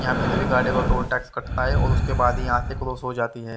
यहां पे सभी गाड़ियों का टोल टैक्स कटता है और उसके बाद ही यहां से क्रॉस हो जाती है।